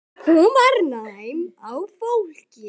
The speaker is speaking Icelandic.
Hún var næm á fólk.